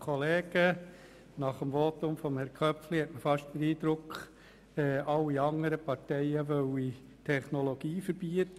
Nach dem Votum von Herrn Köpfli hat man fast den Eindruck, alle anderen Parteien wollten die Technologie verbieten.